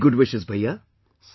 Many good wishes Bhaiya